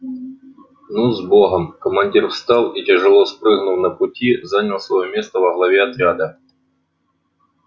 ну с богом командир встал и тяжело спрыгнув на пути занял своё место во главе отряда